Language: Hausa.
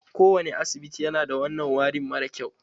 Kowane asibiti yana da wannan warin mara kyau.